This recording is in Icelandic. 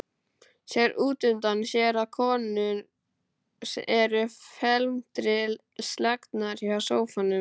Sér útundan sér að konurnar eru felmtri slegnar hjá sófanum.